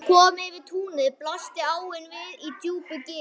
Þegar kom yfir túnið blasti áin við í djúpu gili.